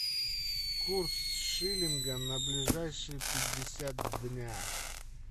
курс шиллинга на ближайшие пятьдесят дня